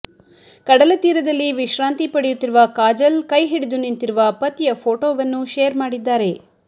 ಕಡಲ ತೀರದಲ್ಲಿ ವಿಶ್ರಾಂತಿ ಪಡೆಯುತ್ತಿರುವ ಕಾಜಲ್ ಕೈ ಹಿಡಿದು ನಿಂತಿರುವ ಪತಿಯ ಫೋಟೋವನ್ನು ಶೇರ್ ಮಾಡಿದ್ದಾರೆ